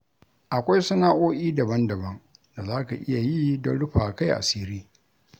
Akwai sana'o'i daban-daban da za ka iya yi don rufawa kai asiri